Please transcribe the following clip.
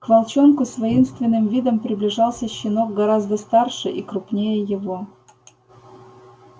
к волчонку с воинственным видом приближался щенок гораздо старше и крупнее его